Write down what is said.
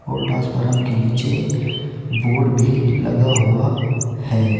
और ट्रांसफार्मर के नीचे बोर्ड भी लगा हुआ है।